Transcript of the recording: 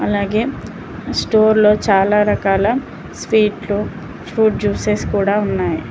అలాగే స్టోర్ లో చాలా రకాల స్వీట్ లు ఫ్రూట్ జ్యూసెస్ కూడా ఉన్నాయ్.